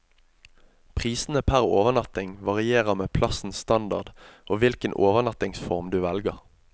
Prisene per overnatting varierer med plassens standard og hvilken overnattingsform du velger.